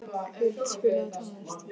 Huld, spilaðu tónlist.